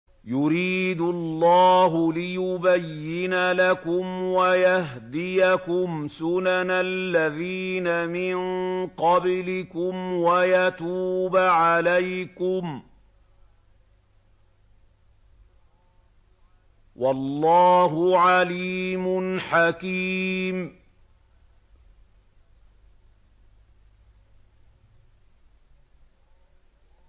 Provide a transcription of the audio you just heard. يُرِيدُ اللَّهُ لِيُبَيِّنَ لَكُمْ وَيَهْدِيَكُمْ سُنَنَ الَّذِينَ مِن قَبْلِكُمْ وَيَتُوبَ عَلَيْكُمْ ۗ وَاللَّهُ عَلِيمٌ حَكِيمٌ